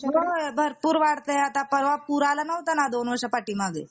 होय भरपूर वाढतंय आता परवा पूर आलं होता दोन वर्षा पाठीमाघे